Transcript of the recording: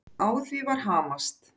Á því var hamast.